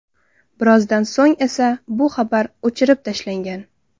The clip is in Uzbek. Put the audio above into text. Birozdan so‘ng esa bu xabar o‘chirib tashlangan.